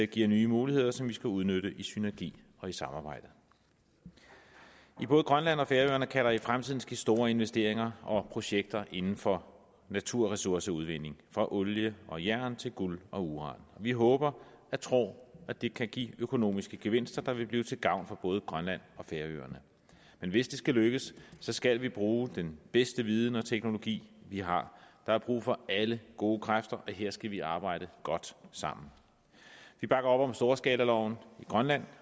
giver nye muligheder som vi skal udnytte i synergi og i samarbejde i både grønland og færøerne kan der i fremtiden ske store investeringer og projekter inden for naturressourceudvinding fra olie og jern til guld og uran vi håber og tror at det kan give økonomiske gevinster der vil blive til gavn for både grønland og færøerne men hvis det skal lykkes skal vi bruge den bedste viden og teknologi vi har der er brug for alle gode kræfter og her skal vi arbejde godt sammen vi bakker op om storskalaloven i grønland